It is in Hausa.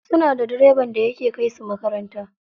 Suna da direban da yake kai su makaranta.